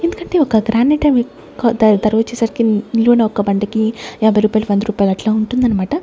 ఎందుకంటే ఒక గ్రానేటవి క ద దరు ఇచ్చేసరికి న్ నిలువున ఒక బండికి యాభై రూపాయలు వంద రూపాయలు అట్లా ఉంటుందన్నమాట.